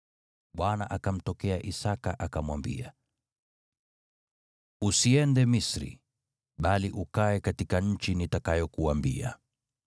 Bwana akamtokea Isaki, akamwambia, “Usiende Misri, bali ukae katika nchi nitakayokuambia.